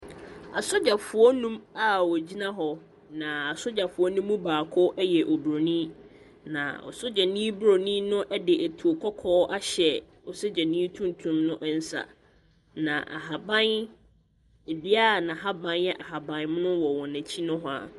Asogyafoɔ nnum a wɔgyina hɔ, na asogyafoɔ no mu baako yɛ oburoni, na sogyani buroni no de etuo kɔkɔɔ ahyɛ sogyani tuntum no nsa, na ahaban dua a n'ahaban yɛ ahaban mono wɔ wɔn akyi nohoa.